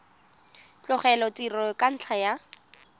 tlogela tiro ka ntlha ya